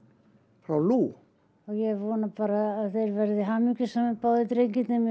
frá Lu ég vona bara að þeir verði hamingjusamir báðir drengirnir mér